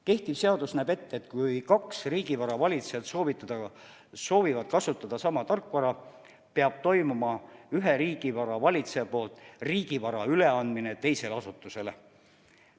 Kehtiv seadus näeb ette, et kui kaks riigivara valitsejat soovivad kasutada sama riigivara, peab üks riigivara valitseja andma riigivara üle teisele asutusele.